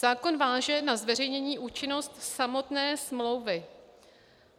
Zákon váže na zveřejnění účinnost samotné smlouvy.